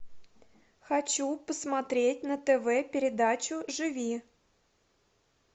хочу посмотреть на тв передачу живи